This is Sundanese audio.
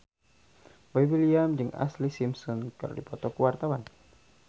Boy William jeung Ashlee Simpson keur dipoto ku wartawan